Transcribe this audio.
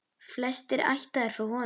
Flestir ættaðir frá honum.